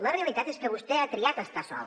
la realitat és que vostè ha triat estar sol